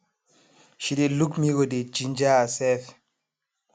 she dey luk mirror dey ginger herself